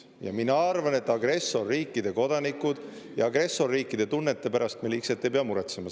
Ja mina arvan, et agressorriikide kodanike ja agressorriikide tunnete pärast me liigselt ei pea muretsema.